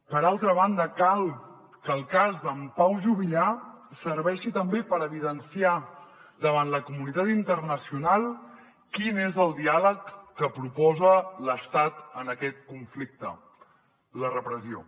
per altra banda cal que el cas d’en pau juvillà serveixi també per evidenciar davant la comunitat internacional quin és el diàleg que proposa l’estat per a aquest conflicte la repressió